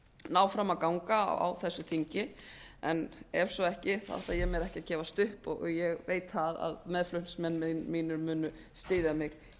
ná fram að ganga á þessu þingi en ef svo ekki ætla ég mér ekki að gefast upp og ég veit það að meðflutningsmenn mínir munu styðja mig